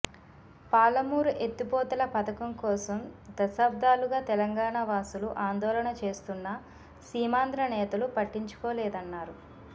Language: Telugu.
పాలమూరు ఎత్తిపోతల పథకం కోసం దశాబ్దాలుగా తెలంగాణ వాసులు ఆందోళన చేస్తున్నా సీమాంధ్ర నేతలు పట్టించుకోలేదన్నారు